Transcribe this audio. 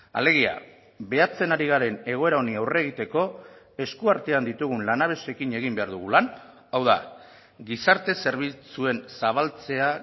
alegia behatzen ari garen egoera honi aurre egiteko eskuartean ditugun lanabesekin egin behar dugu lan hau da gizarte zerbitzuen zabaltzea